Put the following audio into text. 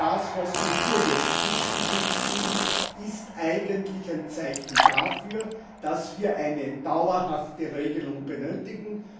Das, was wir hier jetzt zwischen uns spielen, ist eigentlich ein Zeichen dafür, dass wir eine dauerhafte Regelung benötigen.